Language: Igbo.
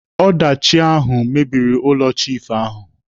Ọdachi ahụ mebiri ụlọ chiifu ahụ.